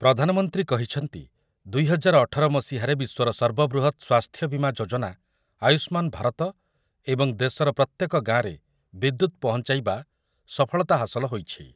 ପ୍ରଧାନମନ୍ତ୍ରୀ କହିଛନ୍ତି, ଦୁଇ ହଜାର ଅଠର ମସିହାରେ ବିଶ୍ୱର ସର୍ବବୃହତ ସ୍ୱାସ୍ଥ୍ୟବୀମା ଯୋଜନା ଆୟୁଷ୍ମାନ ଭାରତ ଏବଂ ଦେଶର ପ୍ରତ୍ୟେକ ଗାଁରେ ବିଦ୍ୟୁତ୍ ପହଞ୍ଚାଇବା ସଫଳତା ହାସଲ ହୋଇଛି ।